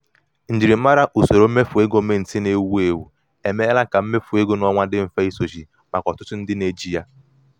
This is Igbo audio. njirimara usoro mmefu ego mint na-ewu ewu emeela ka mmefu ego n'ọnwa dị mfe isochi maka ọtụtụ ndị na-eji ya.